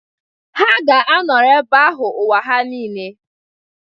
Ha ga-anọrọ ebe ahụ ụwa ha nile